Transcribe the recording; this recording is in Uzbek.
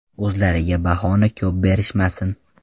O‘zlariga bahoni ko‘p berishmasin!